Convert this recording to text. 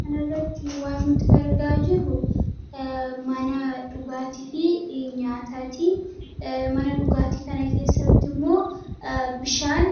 Kana irratti argaa kan jiruu mana nyataafi dhugaatti. Mana dhugaatti kana keessatti immoo bishaan